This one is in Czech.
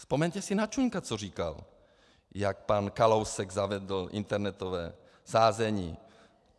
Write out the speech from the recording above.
Vzpomeňte si na Čunka, co říkal, jak pan Kalousek zavedl internetové sázení.